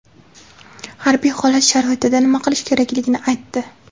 harbiy holat sharoitida nima qilish kerakligini aytdi.